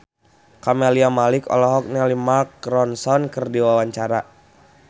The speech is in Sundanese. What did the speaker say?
Camelia Malik olohok ningali Mark Ronson keur diwawancara